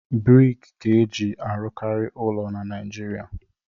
Briki ka e ji arụkarị ụlọ na naịjirịa.